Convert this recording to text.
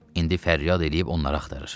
İndi fəryad eləyib onları axtarır.